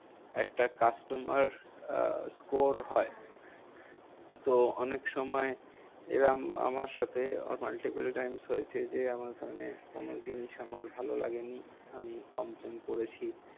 একটা customer ah score হয়। Hmm তো অনেকসময় এরম আমার সাথে multiple times হয়েছে যে, আমার মানে কোনো জিনিস আমার ভালো লাগেনি হম আমি complain করেছি।